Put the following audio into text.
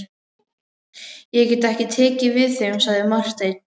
Ég get ekki tekið við þeim, sagði Marteinn.